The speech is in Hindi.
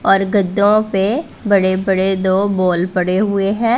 और गद्दो पे बड़े बड़े दो बॉल पड़े हुए हैं।